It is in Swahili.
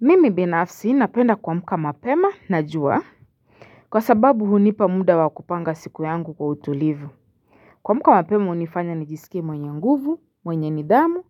Mimi binafsi napenda kuamka mapema na jua Kwa sababu hunipa muda wa kupanga siku yangu kwa utulivu kuamka mapema unifanya nijisike mwenye nguvu mwenye nidhamu